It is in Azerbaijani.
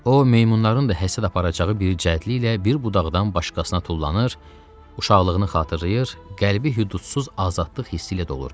O meymunların da həsəd aparacağı bir cəldliklə bir budaqdan başqasına tullanır, uşaqlığını xatırlayır, qəlbi hüdudsuz azadlıq hissi ilə dolurdu.